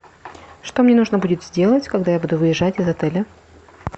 что мне нужно будет сделать когда я буду выезжать из отеля